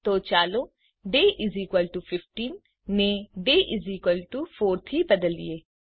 તો ચાલો ડે 15 ને ડે 4 થી બદલીએ